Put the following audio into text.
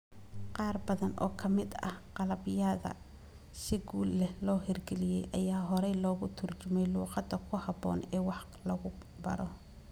Qaar badan oo ka mid ah qalabyada si guul leh loo hirgeliyay ayaa hore loogu turjumay luqadda ku habboon ee wax lagu baro.